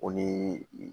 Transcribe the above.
O ni